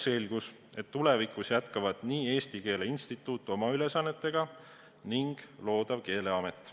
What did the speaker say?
Selgus, et tulevikus jätkab Eesti Keele Instituut oma ülesannete täitmist ning luuakse Keeleamet.